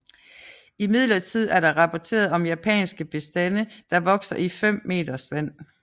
Imidlertid er der rapporteret om japanske bestande der vokser i 5 m vand